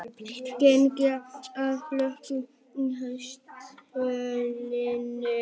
Gengið og flogið í haustsólinni